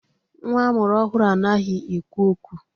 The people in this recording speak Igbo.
Nwa amụrụ ọhụrụ anaghị ekwu okwu.